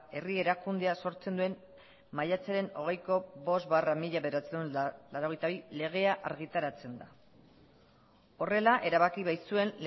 herri erakundea sortzen duen maiatzaren hogeiko bost barra mila bederatziehun eta laurogeita bi legea argitaratzen da horrela erabaki baitzuen